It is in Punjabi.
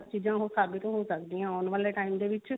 ਚੀਜ਼ਾਂ ਸਾਬਿਤ ਹੋ ਸਕਦੀਆਂ ਆਉਣ ਵਾਲੇ ਟੀਮ ਵਿੱਚ